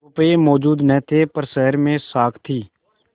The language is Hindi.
रुपये मौजूद न थे पर शहर में साख थी